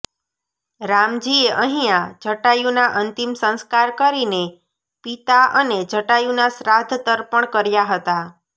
રામજીએ અહિયાં જટાયુના અંતિમ સંસ્કાર કરીને પિતા અને જટાયુના શ્રાદ્ધ તર્પણ કર્યા હતા